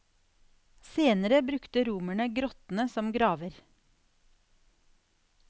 Senere brukte romerne grottene som graver.